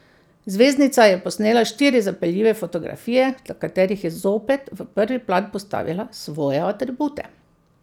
Zvezdnica je posnela štiri zapeljive fotografije, na katerih je zopet v prvi plan postavila svoje atribute.